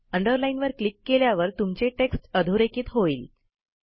अंडरलाईनवर click केल्यावर तुमचे text अधोरेखित होईल